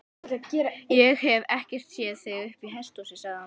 Ég hef ekkert séð þig uppi í hesthúsi, sagði hann.